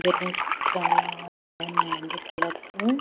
Balloons చాలా బాగున్నాయండి colours .